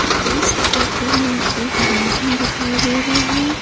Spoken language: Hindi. इस फोटो में एक गार्डन दिखाई दे रहा है।